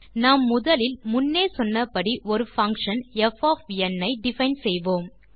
நாம் முதலில் முன்னே சொன்னபடி ஒரு பங்ஷன் ப் ஐ டிஃபைன் செய்வோம்